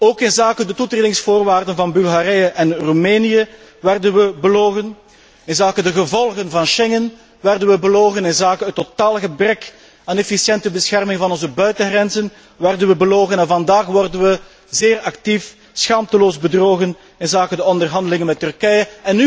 Ook inzake de toetredingsvoorwaarden van Bulgarije en Roemenië werden we belogen, inzake de gevolgen van Schengen werden we belogen, inzake het totaal gebrek aan efficiënte bescherming van onze buitengrenzen werden we belogen en vandaag worden we zeer actief schaamteloos bedrogen inzake de onderhandelingen met Turkije.